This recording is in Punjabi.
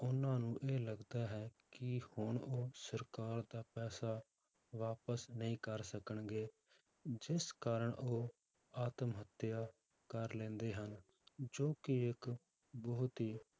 ਉਹਨਾਂ ਨੂ ਇਹ ਲੱਗਦਾ ਹੈ ਕਿ ਹੁਣ ਉਹ ਸਰਕਾਰ ਦਾ ਪੈਸਾ ਵਾਪਸ ਨਹੀਂ ਕਰ ਸਕਣਗੇ ਜਿਸ ਕਾਰਨ ਉਹ ਆਤਮ ਹੱਤਿਆ ਕਰ ਲੈਂਦੇ ਹਨ, ਜੋ ਕਿ ਇੱਕ ਬਹੁਤ ਹੀ